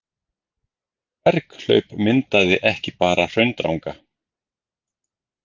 Berghlaup myndaði ekki bara Hraundranga.